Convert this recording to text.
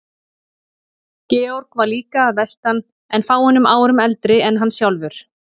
Georg var líka að vestan en fáeinum árum eldri en hann sjálfur.